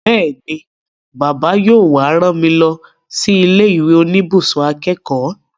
Bẹ́ẹ̀ni, Bàbá yóò wá rán mi lọ sí ilé ìwé oníbùsùn akẹ́kọ̀ọ́